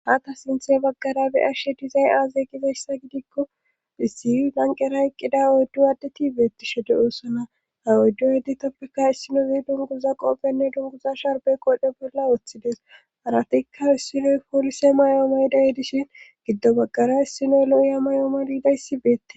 Hata sinthe baggara beyashe dizay aaze gizayssa gidikko issi lanqera eqqida oyddu aaddeti beettishe de oosona ha oyddu yeditappeka issinozi dunguza qoobenne dunguza sharbe qode bolla woththides aratikka issinoy poolise may"oomaydayedishin giddo baggara issinoy lo"iyamay"ooma liidayssi beette